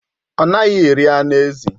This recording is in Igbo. Ọ naghị eri anụ ezi.